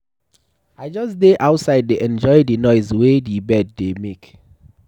I just dey outside dey enjoy the noise wey the birds dey make.